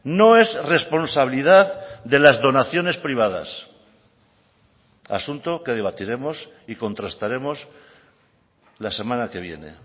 no es responsabilidad de las donaciones privadas asunto que debatiremos y contrastaremos la semana que viene